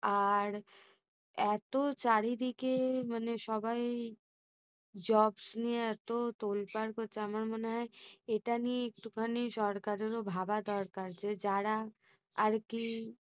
আর এত চারিদিকে মানে সবাই jobs নিয়ে এতো তোলপাড় করছে আমার মনে হয় এটা নিয়ে একটুখানি সরকারেরও ভাবা দরকার যে যারা আরকি